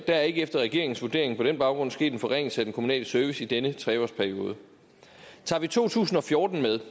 er efter regeringens vurdering på den baggrund ikke sket en forringelse af den kommunale service i denne tre års periode tager vi to tusind og fjorten med